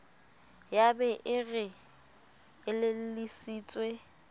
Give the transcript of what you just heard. ya be e re elellisitswe